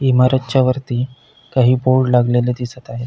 इमारतच्या वरती काही बोर्ड लागलेले दिसत आहेत.